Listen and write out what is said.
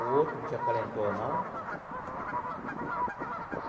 O outro não te acalentou, não?